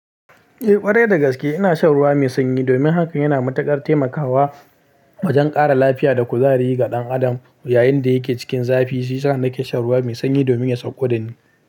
Eh ƙwarai, da gaske ina shan ruwa mai sanyi. Domin hakan yana matuƙar taimakawa wajen ƙara lafiya da kuzari ga ɗan adam yayin da yake cikin zafi. Shi yasa nake shan ruwa mai sanyi domin ya sauƙo da ni.